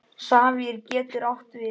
Safír getur átt við